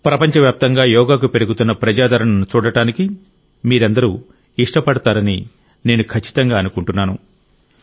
ప్రపంచవ్యాప్తంగా యోగాకు పెరుగుతున్న ప్రజాదరణను చూడడానికి మీరందరూ ఇష్టపడతారని నేను ఖచ్చితంగా అనుకుంటున్నాను